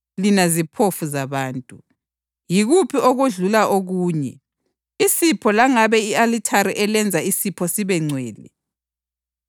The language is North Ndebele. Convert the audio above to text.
Lina ziphofu zabantu! Yikuphi okudlula okunye: isipho langabe i-alithari elenza isipho sibe ngcwele?